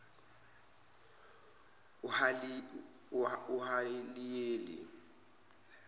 uhaliyeli